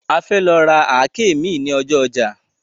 A fẹ́ lọ ra àáké mi ní ọjọ́ ọjà